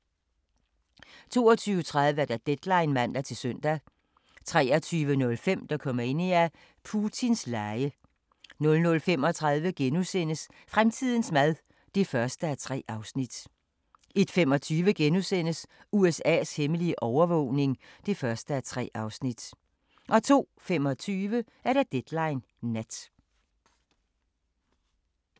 22:30: Deadline (man-søn) 23:05: Dokumania: Putins lege 00:35: Fremtidens mad (1:3)* 01:25: USA's hemmelige overvågning (1:3)* 02:25: Deadline Nat